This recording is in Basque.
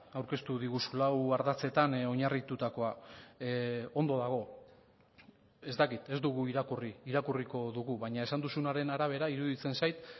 aurkeztu diguzu lau ardatzetan oinarritutakoa ondo dago ez dakit ez dugu irakurri irakurriko dugu baina esan duzunaren arabera iruditzen zait